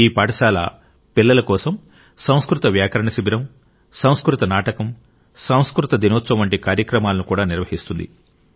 ఈ పాఠశాల పిల్లల కోసం సంస్కృత వ్యాకరణ శిబిరం సంస్కృత నాటకం సంస్కృత దినోత్సవం వంటి కార్యక్రమాలను కూడా నిర్వహిస్తుంది